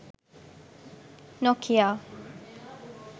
nokia